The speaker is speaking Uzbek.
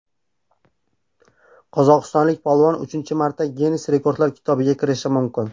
Qozog‘istonlik polvon uchinchi marta Ginnes rekordlar kitobiga kirishi mumkin.